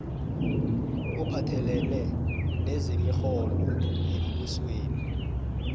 ophathelene nezemirholo yembusweni